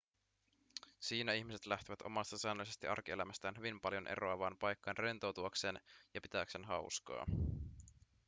siinä ihmiset lähtevät omasta säännöllisestä arkielämästään hyvin paljon eroavaan paikkaan rentoutuakseen ja pitääkseen hauskaa